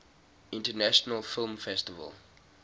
international film festival